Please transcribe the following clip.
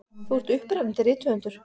Þú ert upprennandi rithöfundur.